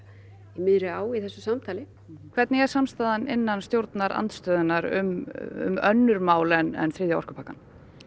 í miðri á í þessu samtali hvernig er samstaðan innan stjórnarandstöðunnar um önnur mál en þriðja orkupakkann